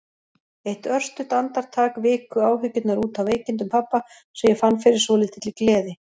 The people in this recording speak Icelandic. Eitt örstutt andartak viku áhyggjurnar út af veikindum pabba og ég fann fyrir svolítilli gleði.